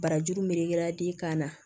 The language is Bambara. Barajuru melekera den kan na